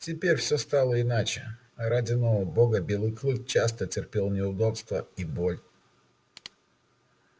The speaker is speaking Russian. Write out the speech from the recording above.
теперь всё стало иначе ради нового бога белый клык часто терпел неудобства и боль